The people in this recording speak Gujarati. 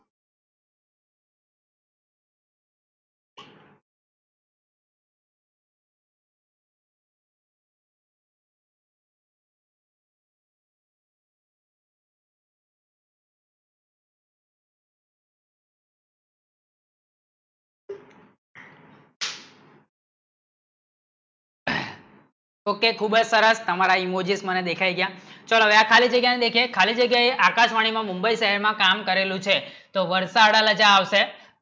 Okay Google કરત તામારા emojis મને દેખાયી દયા ચલો ખાલી જગ્યા ને લેખે ખાલી જગ્યા ને આકાશવાણી નો મુંબઈ શહેર માં કામ કરેલું છે તો વર્ષ આડા લાશ આવશે